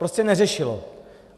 Prostě neřešilo.